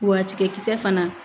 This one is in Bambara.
Wa tigɛkisɛ fana